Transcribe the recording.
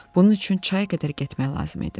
Bunun üçün çaya qədər getmək lazım idi.